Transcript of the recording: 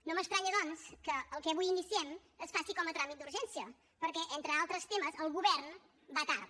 no m’estranya doncs que el que avui iniciem es faci com a tràmit d’urgència perquè entre altres temes el govern va tard